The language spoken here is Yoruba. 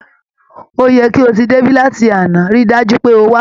Ó yẹ kí o ti dé láti àná, rí i dájú pé o wá